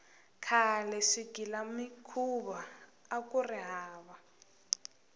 khale swigilamikhuva akuri hava